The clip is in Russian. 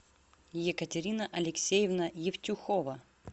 екатерина алексеевна евтюхова